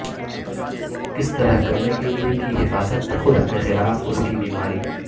کس طرح کرنے کے لئے کی حفاظت خود اپنے خلاف اس کی بیماری